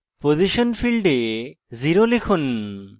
position ফীল্ডে 0 লিখুন